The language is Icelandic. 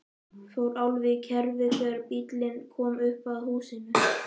Fór alveg í kerfi þegar bíllinn kom upp að húsinu.